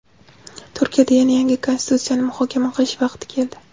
Turkiyada yana yangi konstitutsiyani muhokama qilish vaqti keldi.